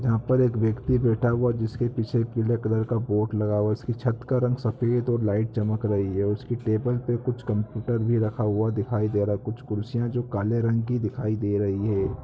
यहाँ पर एक व्यक्ति बैठा हुआ है जिसके पीछे पीले कलर का बोर्ड लगा हुआ है। उसकी छत का रंग सफेद और लाइट चमक रही है। उसकी टेबल पे कुछ कंप्युटर भी रखा हुआ दिखाई दे रहा है। कुछ कुर्सियाँ जो काले रंग की दिखाई दे रही है।